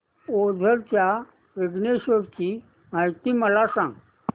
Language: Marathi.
ओझर च्या विघ्नेश्वर ची महती मला सांग